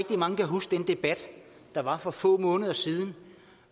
mange kan huske den debat der var for få måneder siden